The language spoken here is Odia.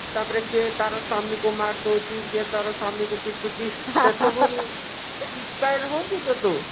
ତାପରେ କିଏ ତାର ସ୍ଵାମୀ କୁ ମାରିଦଉଛି କିଏ ତାର ସ୍ଵାମୀ କୁ ପିଟୁଛି inspire ହଉନୁ ତ ତୁ?